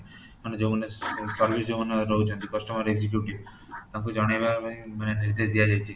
ମାନେ ଯୋଉଁ ମାନେ service ଯୋଉଁ ମାନେ ଦେଉଛନ୍ତି customer executive ତାଙ୍କୁ ଜଣେଇବା ପାଇଁ ମାନେ ନିର୍ଦେଶ ଦିଆଯାଇଛି